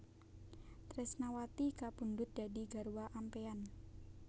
Tresnawati kapundhut dadi garwa ampéyan